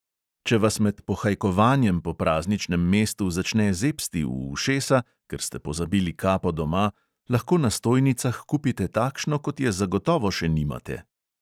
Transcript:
Če vas med pohajkovanjem po prazničnem mestu začne zebsti v ušesa, ker ste pozabili kapo doma, lahko na stojnicah kupite takšno, kot je zagotovo še nimate.